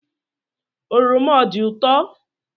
Oroma ọ dị ụtọo?